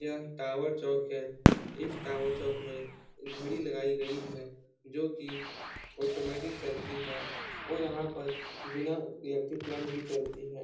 यह टॉवर चौक है। इस टॉवर चौक में एक घड़ी लगाई गई है जोकि ऑटोमेटिक चलती है और यहाँ पर बिना इलेक्ट्रिक करंट की चलती है।